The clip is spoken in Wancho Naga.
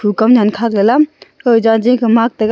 khu nyan kha ke la kau jaji ka maak taga.